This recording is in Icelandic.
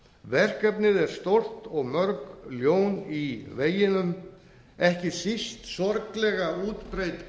verkefnið er stórt og mörg ljón í veginum ekki síst sorglega útbreidd